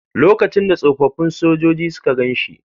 Lokacin da tsofaffin sojoji suka gan shi..